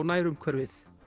nærumhverfið